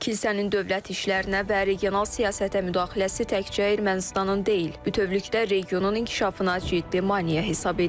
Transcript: Kilsənin dövlət işlərinə və regional siyasətə müdaxiləsi təkcə Ermənistanın deyil, bütövlükdə regionun inkişafına ciddi maneə hesab edilir.